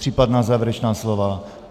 Případná závěrečná slova?